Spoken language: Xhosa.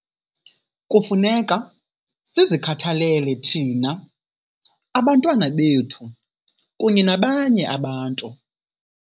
Kufuneka sizikhathalele thina, abantwana bethu kunye nabanye abantu.